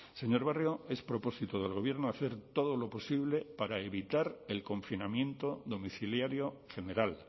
señor barrio es propósito del gobierno hacer todo lo posible para evitar el confinamiento domiciliario general